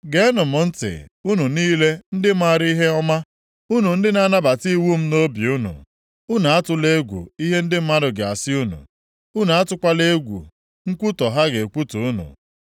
Geenụ m ntị, unu niile ndị maara ihe ọma, unu ndị na-anabata iwu m nʼobi unu. Unu atụla egwu ihe ndị mmadụ ga-asị unu, unu atụkwala egwu nkwutọ ha ga-ekwutọ unu.